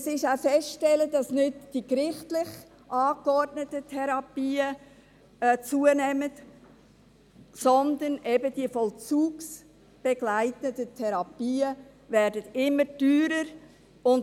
Es ist auch festzustellen, dass nicht die gerichtlich angeordneten Therapien zunehmen, sondern eben diese vollzugsbegleitenden Therapien immer teurer werden.